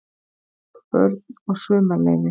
BÖRN OG SUMARLEYFI